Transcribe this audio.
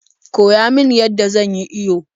Koya min yadda zan yi iyo